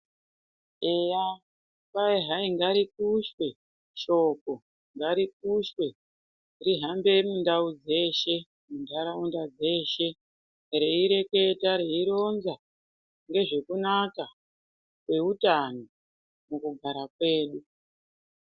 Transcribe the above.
Eya, kwai hai ngarikushwe shoko ngarikushwe rihambe mundau dzeshe, muntaraunda dzeshe, reireketa reironza ngezvekunaka kweutano mukugara kwedu.